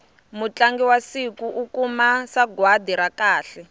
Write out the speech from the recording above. mutlangi wa siku u kuma sagwati ra kahle